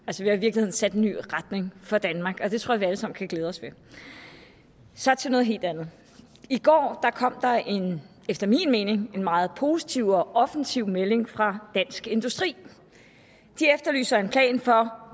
i virkeligheden sat en ny retning for danmark og det tror jeg vi alle sammen kan glæde os til så til noget helt andet i går kom der en efter min mening meget positiv og offensiv melding fra dansk industri de efterlyser en plan for